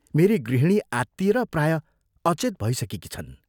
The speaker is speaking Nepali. मेरी गृहिणी आत्तिएर प्रायः अचेत भइसकेकी छन्।